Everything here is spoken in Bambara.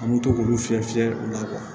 An bɛ to k'olu fiyɛ fiyɛli la